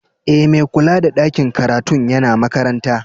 E, mai kulla da ɗakin karatun yana makaranta.